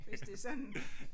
Hvis det er sådan